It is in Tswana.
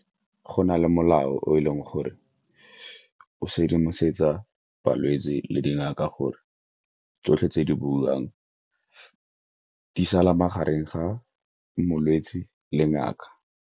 Go na le molao o e leng gore o sedimosetsa balwetse le dingaka gore tsotlhe tse di buiwang di sala magareng ga molwetse le ngaka.